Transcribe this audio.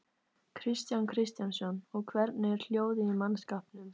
Kristján Kristjánsson: Og hvernig er hljóðið í mannskapnum?